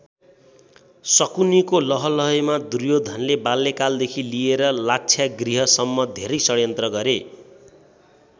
षकुनिको लहलहैमा दुर्योधनले बाल्यकालदेखि लिएर लाक्षागृहसम्म धेरै षड्यन्त्र गरे।